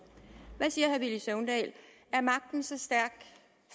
hvad siger herre villy søvndal er magten så stærk